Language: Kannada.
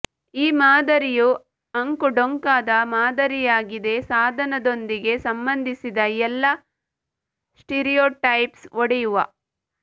ಈ ಮಾದರಿಯು ಅಂಕುಡೊಂಕಾದ ಮಾದರಿಯಾಗಿದೆ ಸಾಧನದೊಂದಿಗೆ ಸಂಬಂಧಿಸಿದ ಎಲ್ಲಾ ಸ್ಟೀರಿಯೊಟೈಪ್ಸ್ ಒಡೆಯುವ